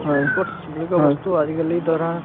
ই sports বুলি কোৱা বস্তুতো আজিকালি ধৰা